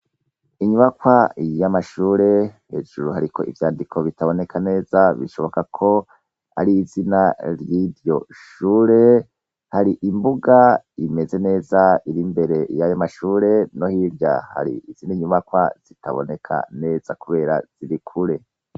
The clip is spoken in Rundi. Inyubakwa yamashure hejuru hariko ivyandiko vyandika neza bishobokako arizina yiryo shure hari imbuga imeze neza iri imbere yayo mashure no hirya hari izindi nyubakwa zitaboneka neza kubera ziri kure